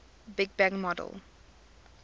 big bang model